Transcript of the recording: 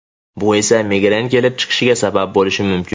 Bu esa migren kelib chiqishiga sabab bo‘lishi mumkin.